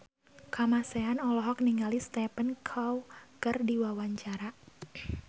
Kamasean olohok ningali Stephen Chow keur diwawancara